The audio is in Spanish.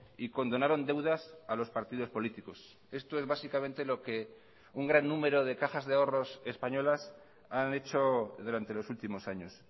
y condonaron deudas a los partidos políticos esto es básicamente lo que un gran número de cajas de ahorros españolas han hecho durante los últimos años